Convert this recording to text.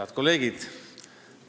Head kolleegid!